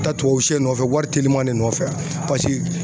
Taa tubabusɛ nɔfɛ wari teliman ne nɔfɛ a pase